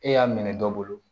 E y'a minɛ dɔ bolo